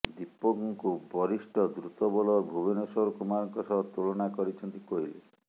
ଦୀପକଙ୍କୁ ବରିଷ୍ଠ ଦ୍ରୁତ ବୋଲର ଭୁବନେଶ୍ବର କୁମାରଙ୍କ ସହ ତୁଳନା କରିଛନ୍ତି କୋହଲି